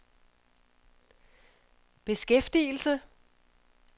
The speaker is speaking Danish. beskæftigelse